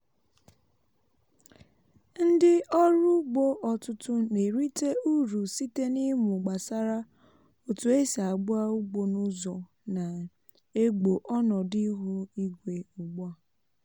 ndị ọrụ ugbo ọtụtụ na-erite uru site n’ịmụ gbasara otu esi agba ugbo n’ụzọ na-egbo ọnọdụ ihu igwe ugbu a.